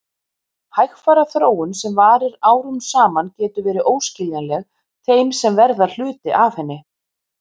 Hægfara þróun sem varir árum saman getur verið óskiljanleg þeim sem verða hluti af henni.